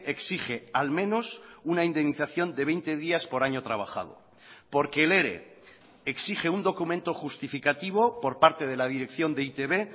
exige al menos una indemnización de veinte días por año trabajado porque el ere exige un documento justificativo por parte de la dirección de e i te be